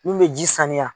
Mun bɛ ji sanuya